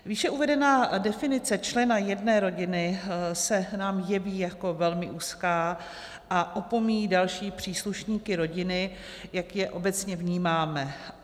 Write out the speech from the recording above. Výše uvedená definice člena jedné rodiny se nám jeví jako velmi úzká a opomíjí další příslušníky rodiny, jak je obecně vnímáme.